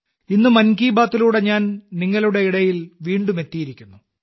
ഇന്ന് 'മൻ കി ബാത്തിലൂടെ' ഞാൻ നിങ്ങളുടെ ഇടയിൽ വീണ്ടും എത്തിയിരിക്കുന്നു